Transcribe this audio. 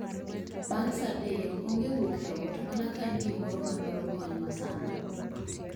Bang' saa adek onge wuok e ot, mana ka en gi moro ma dwaro kony ma sano